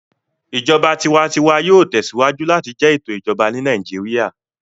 Ìjọba tiwantiwa yóò tẹsíwájú láti jẹ ètò Ìjọba ní Nàìjíríà